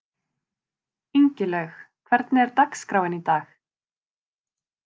Ingilaug, hvernig er dagskráin í dag?